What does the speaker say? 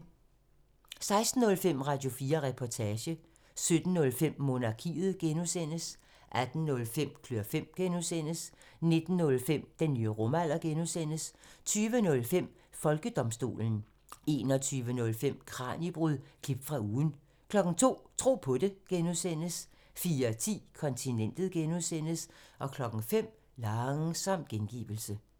16:05: Radio4 Reportage 17:05: Monarkiet (G) 18:05: Klør fem (G) 19:05: Den nye rumalder (G) 20:05: Folkedomstolen 21:05: Kraniebrud – klip fra ugen 02:00: Tro på det (G) 04:10: Kontinentet (G) 05:00: Langsom gengivelse